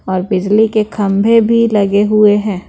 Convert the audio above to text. और बिजली के खंभे भी लगे हुए है।